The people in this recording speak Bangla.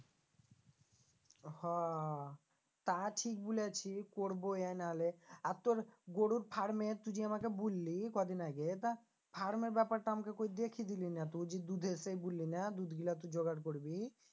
হো তা ঠিক বলেছিস করবো ইয়ে না হলে আর তোর গোরুর farm এ তুই যে আমাকে বুললি কদিন আগে তা farm এর ব্যাপারটা আমাকে কই দেখিয়ে দিলি না তো ওই যে দুধে সে বুললি না দুধগুলা তুই জোগাড় করবি